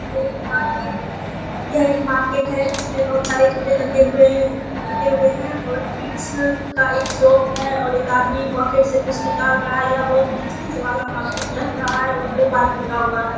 यह एक मार्केट है यह एक मार्केट है इसमे बहोत सारे कपड़े लगे हुए है लगे हुए है और किड्स का एक शॉप है और एक आदमी पॉकेट से कुछ निकाल रहा है यह बहोत घिच-किच वाला मार्केट लग रहा है और दो बाइक लगा हुआ है।